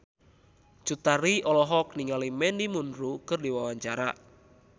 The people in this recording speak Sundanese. Cut Tari olohok ningali Mandy Moore keur diwawancara